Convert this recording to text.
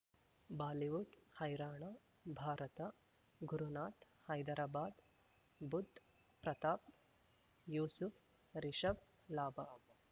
Bollywood ಹೈರಾಣ ಭಾರತ ಗುರುನಾಥ್ ಹೈದರಾಬಾದ್ ಬುಧ್ ಪ್ರತಾಪ್ ಯೂಸುಫ್ ರಿಷಬ್ ಲಾಭ